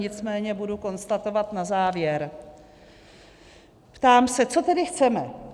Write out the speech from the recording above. Nicméně budu konstatovat na závěr - ptám se, co tedy chceme.